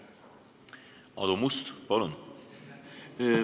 Aadu Must, palun!